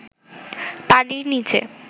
পানির নিচে